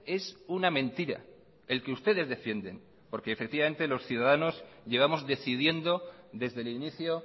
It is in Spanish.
es una mentira el que ustedes defienden porque efectivamente los ciudadanos llevamos decidiendo desde el inicio